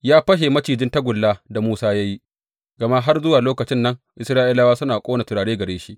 Ya fashe macijin tagullan da Musa ya yi, gama har zuwa lokacin nan Isra’ilawa suna ƙona turare gare shi.